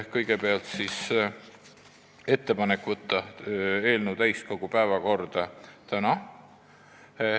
Kõigepealt tehti ettepanek võtta eelnõu täiskogu päevakorda tänaseks.